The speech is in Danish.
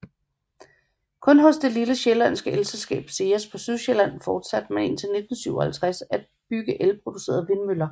Kun hos det lille sjællandske elselskab SEAS på Sydsjælland fortsatte man indtil 1957 at bygge elproducerende vindmøller